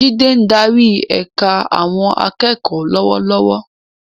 Jide ń darí ẹ̀ka àwọn akẹ́kọ̀ọ́ lọ́wọ́lọ́wọ́.